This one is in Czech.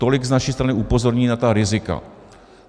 Tolik z naší strany upozornění na ta rizika.